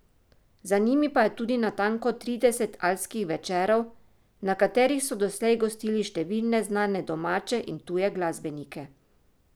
Za njimi pa je tudi natanko trideset Alpskih večerov, na katerih so doslej gostili številne znane domače in tuje glasbenike.